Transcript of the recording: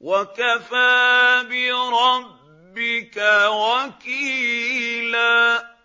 وَكَفَىٰ بِرَبِّكَ وَكِيلًا